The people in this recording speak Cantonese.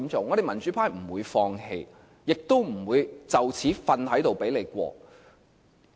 我們民主派不會放棄，亦不會就此躺着讓你通過。